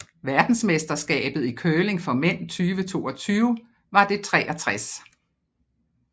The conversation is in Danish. Verdensmesterskabet i curling for mænd 2022 var det 63